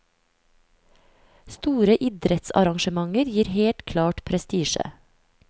Store idrettsarrangementer gir helt klart prestisje.